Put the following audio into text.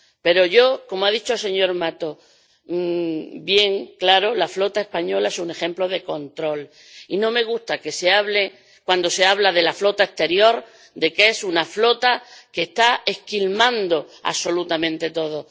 Pero —como ha dicho el señor Mato bien claro— la flota española es un ejemplo de control y no me gusta que, cuando se habla de la flota exterior, se diga que es una flota que está esquilmando absolutamente todo.